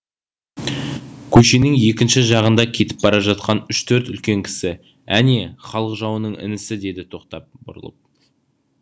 көшенің екінші жағында кетіп бара жатқан үш төрт үлкен кісі әне халық жауының інісі деді тоқтап бұрылып